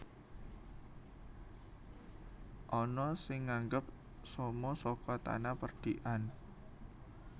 Ana sing nganggep somo saka tanah perdikan